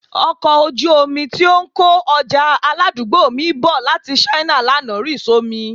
Ọkọ̀ ojú omi tí ó ń kó ọjà aládùúgbò mi bọ̀ láti China lánàá rì só mi